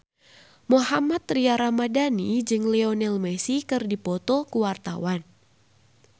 Mohammad Tria Ramadhani jeung Lionel Messi keur dipoto ku wartawan